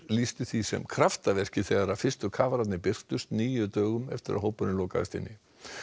lýstu því sem kraftaverki þegar fyrstu kafararnir birtust níu dögum eftir að hópurinn lokaðist inni